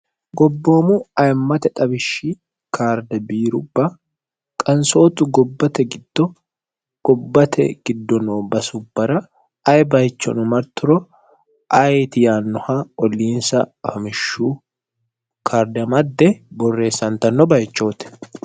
Gobboomu aymate xawishshi kaarde biirubba qansootu gobbate giddo gobbate giddo noo basubbara aye bayichono marturo ayeeti yaannoha olliinsa ayimmishu kaarde amadde borreessantanno bayichooti